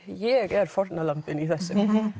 ég er fórnarlambið í þessu